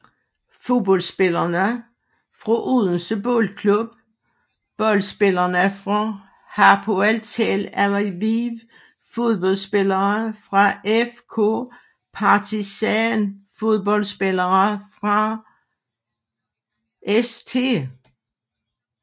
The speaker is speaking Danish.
Fodboldspillere fra Odense Boldklub Fodboldspillere fra Hapoel Tel Aviv Fodboldspillere fra FK Partizan Fodboldspillere fra St